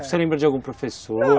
Você lembra de algum professor?